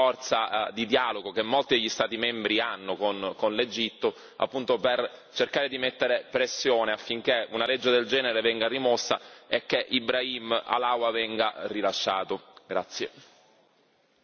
Quindi dovremmo utilizzare quella forza di dialogo che molti degli Stati membri hanno con l'Egitto appunto per cercare di fare pressione affinché una legge del genere venga rimossa e che Ibrahim Halawa venga rilasciato.